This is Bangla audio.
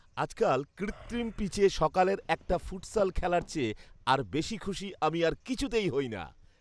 আজকাল কৃত্রিম পিচে সকালের একটা ফুটসাল খেলার চেয়ে আর বেশি খুশি আমি আর কিছুতেই হই না।